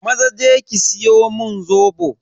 Maza je ki siyo mun Zobo.